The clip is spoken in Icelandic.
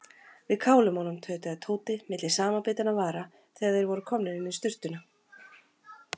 Við kálum honum tautaði Tóti milli samanbitinna vara þegar þeir voru komnir inn í sturtuna.